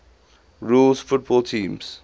rules football teams